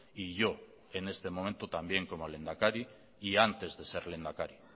y yo en este momento también como lehendakari y antes de ser lehendakari